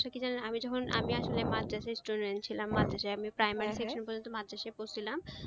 কি জানেন আমি আসলে মাদ্রাসের student ছিলাম মাদ্রাসে primary পর্যন্ত মাদ্রাসে পড়ছিলাম